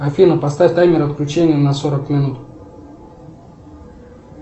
афина поставь таймер отключения на сорок минут